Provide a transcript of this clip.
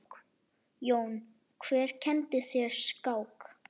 Jón: Hver kenndi þér skák?